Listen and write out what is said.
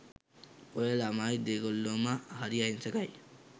ඔය ළමයි දෙගොල්ලොම හරි අහිංසකයි